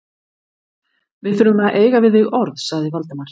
Við þurfum að eiga við þig orð sagði Valdimar.